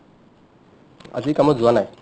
আজি কামত যোৱা নাই ।